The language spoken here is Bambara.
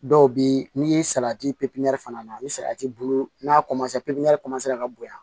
Dɔw bɛ n'i salati pipiniyɛri fana na ni salati bulu n'a pipiniyɛri ka bonya